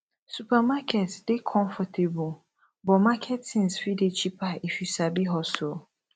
supermarket dey comfortable but market tins fit dey cheaper if yu sabi hustle